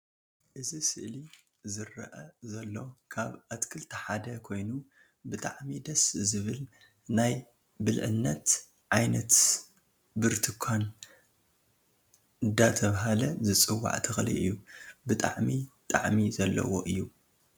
እዚ ስእሊ ዝርኣ ዘሎ ካብ ኣትክልቲ ሓደ ኮይኑ ብጣዓሚ ደስ ዝብል ናይ ብግብነት ዓይነት ቡርትካን እዳተባሃለ ዝፅዋዕ ተክሊ እዩ። ብጣዓሚ ጣዓሚ ዘለዎ እዩ